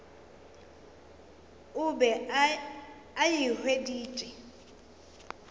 o be a e hweditše